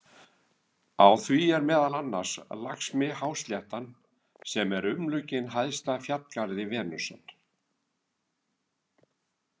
Á því er meðal annars Lakshmihásléttan sem er umlukin hæsta fjallgarði Venusar.